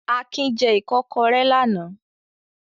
Akin jẹ ìkọ́kọrẹ́ lánàá.